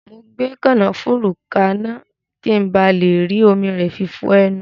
Mo gbé kànáfùrú kaná, ki n ba le rí omi rẹ fi fọ ẹnu